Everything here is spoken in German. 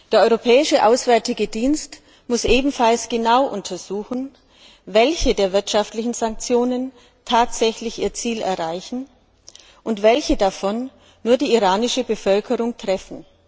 Der Europäische Auswärtige Dienst muss ebenfalls genau untersuchen, welche der wirtschaftlichen Sanktionen tatsächlich ihr Ziel erreichen und welche davon nur die iranische Bevölkerung treffen.